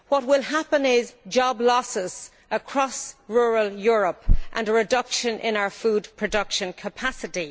What will happen is there will be job losses across rural Europe and a reduction in our food production capacity.